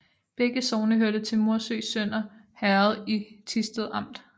Begge sogne hørte til Morsø Sønder Herred i Thisted Amt